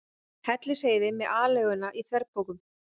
Hellisheiði með aleiguna í þverpokum.